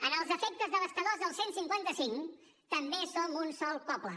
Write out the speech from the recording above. en els efectes devastadors del cent i cinquanta cinc també som un sol poble